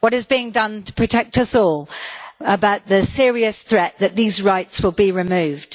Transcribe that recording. What is being done to protect us all about the serious threat that these rights will be removed?